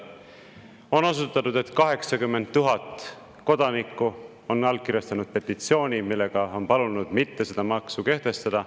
On osutatud, et 80 000 kodanikku on allkirjastanud petitsiooni, millega on palunud mitte seda maksu kehtestada.